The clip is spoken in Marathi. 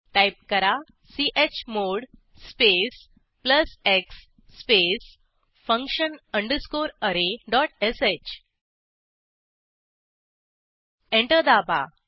टाईप करा chmod space plus x space function underscore r dot sh enter दाबा